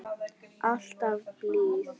Alltaf blíð.